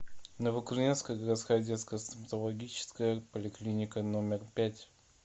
новокузнецкая городская детская стоматологическая поликлиника номер пять